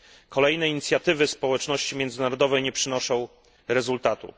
Kolejne inicjatywy społeczności międzynarodowej nie przynoszą rezultatu.